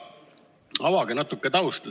Avage natuke tausta.